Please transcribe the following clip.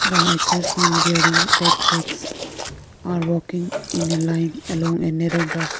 the hikers some wearing backpacks are walking in a line alone a narrow dark pa --